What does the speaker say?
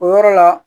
O yɔrɔ la